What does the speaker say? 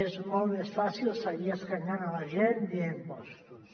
és molt més fàcil seguir escanyant la gent via impostos